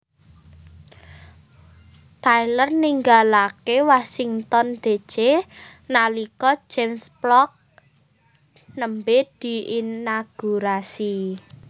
Tyler ninggalake Washington D C nalika James Polk nembe diinagurasi